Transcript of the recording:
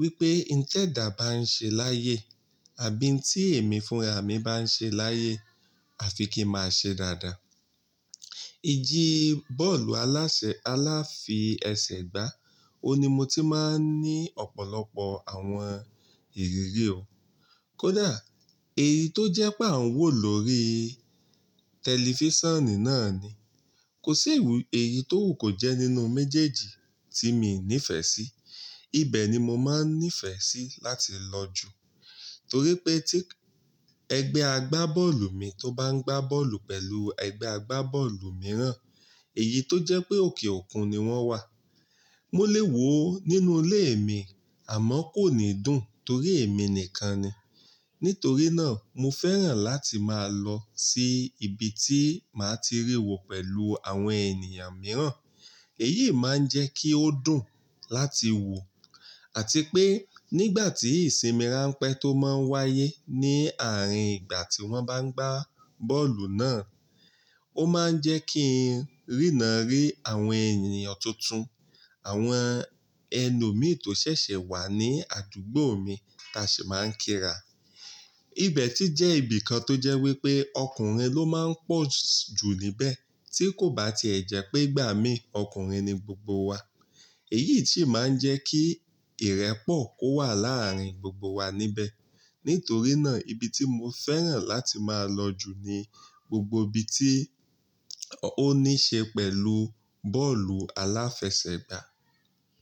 wípé n tẹ̀dáà bàá ń ṣe láyé àbí ń tí èmi fúnra mi bá ń ṣe láyé, à fi kí máa ṣe dáadáa. Iji bọ́ọ̀lù alásè aláfiẹsẹ̀gbá, ó ni mo ti máa ń ní ọ̀pọ̀lọpọ̀ àwọn ìrírí o. Kódà èyí tó jẹ́ pé àn wò lóri tẹlifísàn náà ni. Kò sí ìwú èyí tó wù kó jẹ́ nínú méjèèjì tí mi nífẹ̀ẹ́ sí. Ibẹ̀ ni mo máa ń nífẹ̀ẹ́ sí láti lọ jù torí pé tí ẹgbẹ́ agbábọ́ọ̀lù mi tó bá ń gbá bọ́ọ̀lù pẹ̀lú ẹgbẹ́ agbábọ́ọ̀lù mìíràn, èyí tó jẹ́ pé òkè òkun ni wọ́n wà. Mo lè wò ó nínú ilé mi àmọ́ kò ní dùn torí èmi nìkan ni. Nítorí náà mo fẹ́ràn láti máa lọ sí ibi tí màá ti rí wò pẹ̀lú àwọn ènìyàn mìíràn. Èyí máa ń jẹ́ kí ó dùn láti wò àti pé nígbà tí ìsinmi ránpẹ́ tó máa ń wáyé ní àárín ìgbà tí wọ́n bá ń gbá bọ́ọ̀lù náà, ó máa ń jẹ́ kí n rína rí àwọn ènìyàn tuntun, àwọn ẹlòmíì tó ṣẹ̀ṣẹ̀ wá ní àdúgbò mi ta ṣi máa ń kíra. Ibẹ̀ sì jẹ́ ibìkan tó jẹ́ wípé ọkùnrin ló máa ń pọ̀ jù níbẹ̀ tí kò bá ti ẹ̀ jẹ́ pé gbà mí ọkùnrin ni gbogbo wa. Èyí sì máa ń jẹ́ kí ìrẹ́pọ̀ kó wà láàárín gbogbo wa níbẹ̀. Nítorí náà ibi tí mo fẹ́ràn láti máa lọ jù ni gbogbo ibi tí ó ní ṣe pẹ̀lú bọ́ọ̀lù aláfẹsẹ̀gbá.